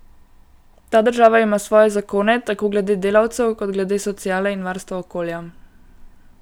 Ta država ima svoje zakone, tako glede delavcev kot glede sociale in varstva okolja.